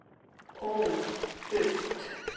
ó duft